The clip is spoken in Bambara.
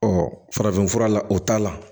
farafinfura la o t'a la